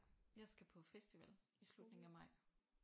Jeg skal på festival i slutningen af maj